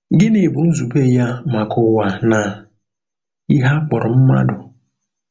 Gịnị bụ nzube ya maka ụwa na ihe a kpọrọ mmadụ?